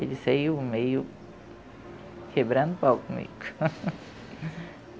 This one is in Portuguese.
Ele saiu meio quebrando o palco comigo.